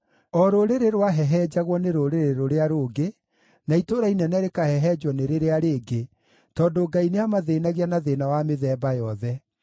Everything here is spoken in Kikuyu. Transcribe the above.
O rũrĩrĩ rwahehenjagwo nĩ rũrĩrĩ rũrĩa rũngĩ, na itũũra inene rĩkahehenjwo nĩ rĩrĩa rĩngĩ tondũ Ngai nĩamathĩĩnagia na thĩĩna wa mĩthemba yothe.